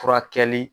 Furakɛli